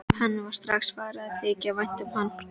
Henni var strax farið að þykja vænt um hann.